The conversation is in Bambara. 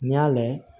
N'i y'a layɛ